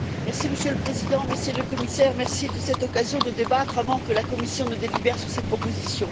Monsieur le Président, Monsieur le Commissaire, merci de cette occasion de débattre avant que la Commission ne délibère sur ces propositions.